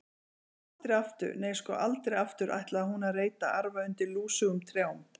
Aldrei aftur, nei, sko, aldrei aftur ætlaði hún að reyta arfa undir lúsugum trjám.